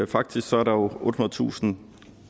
faktisk er der ottehundredetusind